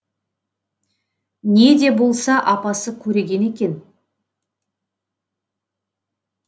не де болса апасы көреген екен